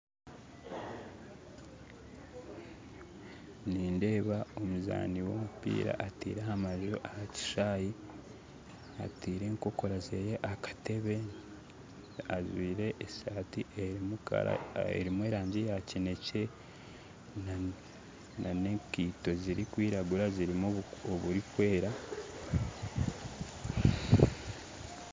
Nindeeba omuzaani w'omupiira ateire amaju aha kishaayi ataire enkokora ze aha katebe ajwaire esaati erimu erangi ya kinekye n'enkaito zirikwiragura zirimu oburikwera